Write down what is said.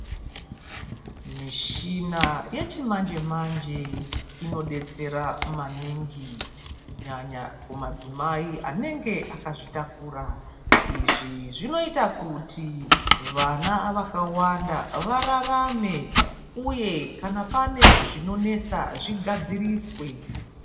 Mishina yechimanje manje inodetsera maningi kunyanya kumadzimai anenge akazvitakura. Izvi zvinoita kuti vana vakawanda vararame uye kana pane zvinonesa zvigadziriswe.